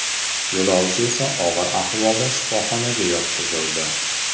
Yo‘lovchi esa og‘ir ahvolda shifoxonaga yotqizildi.